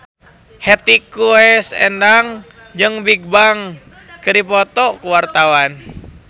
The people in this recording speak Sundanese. Hetty Koes Endang jeung Bigbang keur dipoto ku wartawan